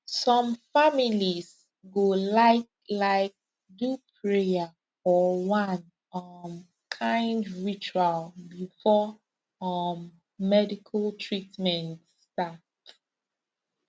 some families go like like do prayer or one um kind ritual before um medical treatment start